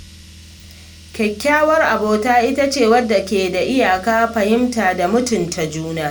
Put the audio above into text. Kyakkyawar abota ita ce wadda ke da iyaka, fahimta, da mutunta juna.